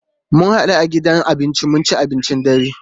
Mu hadu a gidan abinci mu ci abincin dare.